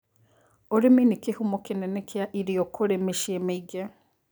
ũrĩmi nĩ kihumo kĩnene kĩa irio kurĩ mĩciĩ mĩingĩ